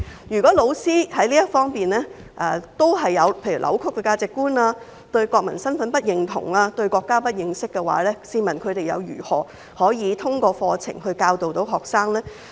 如果教師在這方面還是扭曲價值觀、對國民身份不認同、對國家不認識的話，試問他們又如何通過課程教導學生？